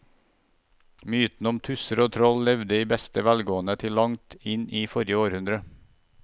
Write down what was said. Mytene om tusser og troll levde i beste velgående til langt inn i forrige århundre.